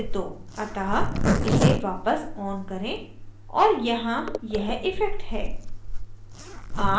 अतः इसे वापस on करें और यहाँ यह इफ़ेक्ट है